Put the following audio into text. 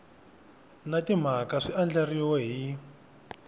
na timhaka swi andlariwile hi